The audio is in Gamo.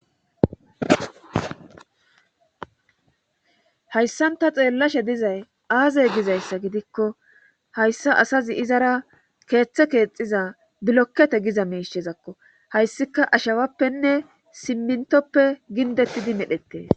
hayssanta xeellashe dizay aazey gizayssa gidikko hayssa asazi izara keeththe keexiza bilokkete giza meishezakko hayssika ashawappenne simmintoppe gindettidi medhettee